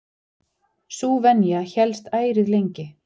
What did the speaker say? Sú venja hélst ærið lengi.